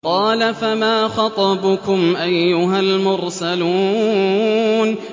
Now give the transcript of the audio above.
قَالَ فَمَا خَطْبُكُمْ أَيُّهَا الْمُرْسَلُونَ